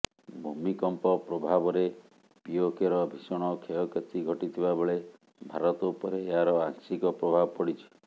ଭୂମିକମ୍ପ ପ୍ରଭାବରେ ପିଓକେର ଭୀଷଣ କ୍ଷୟକ୍ଷତି ଘଟିଥିବା ବେଳେ ଭାରତ ଉପରେ ଏହାର ଆଂଶିକ ପ୍ରଭାବ ପଡ଼ିଛି